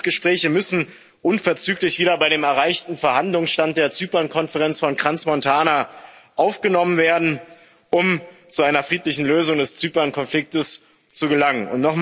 Die Friedensgespräche müssen unverzüglich wieder bei dem erreichten Verhandlungsstand der Zypernkonferenz von Crans Montana aufgenommen werden, um zu einer friedlichen Lösung des Zypernkonfliktes zu gelangen.